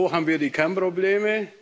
Denn wo haben wir die Kernprobleme?